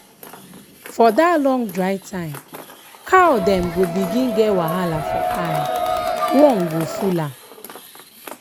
for that long dry time cow dem go begin get wahala for eye worm go full am.